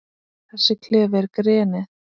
Þessi klefi er grenið.